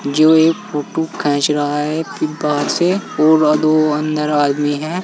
जो एक फोटो खैच रहा है फि बाहर से और दो अंदर आदमी है।